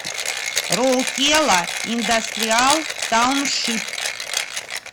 роукела индастриал тауншип